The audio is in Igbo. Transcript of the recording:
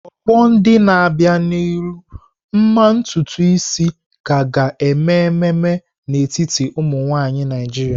Ọgbọ ndị na-abịa n'ihu, mma ntutu isi ka ga-eme ememe n'etiti ụmụ nwanyị Naijiria.